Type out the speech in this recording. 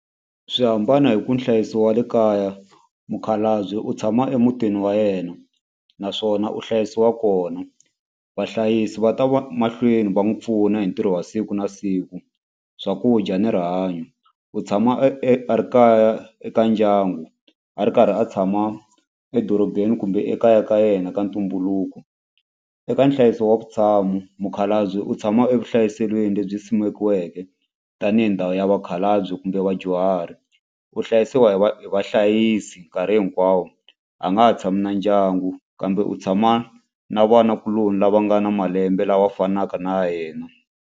Swi hambana hi ku nhlayiso wa le kaya mukhalabye u tshama emutini wa yena naswona u hlayisiwa kona vahlayisi va ta va mahlweni va n'wi pfuna hi ntirho wa siku na siku swakudya ni rihanyo u tshama e e a ri kaya eka ndyangu a ri karhi a tshama edorobeni kumbe ekaya ka yena ka ntumbuluko. Eka nhlayiso wa vutshamo mukhalabye u tshama evuhlayiselweni lebyi simekiweke tanihi ndhawu ya vakhalabye kumbe vadyuhari u hlayisiwa hi va hi vahlayisi nkarhi hinkwawo a nga ha tshami na ndyangu kambe u tshama na vanakuloni lava nga na malembe lawa fanaka na yena.